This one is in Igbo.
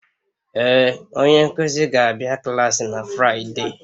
Ee, onye nkuzi ga-abịa klaasị na Fraịde.